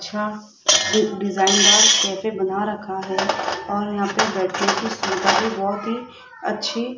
अच्छा एक डिजाइंड डिजाइनदार कैफे बना रखा है और यहां पे बैठने की भी सुविधा बहोत ही अच्छी --